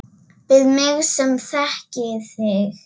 Við mig sem þekki þig.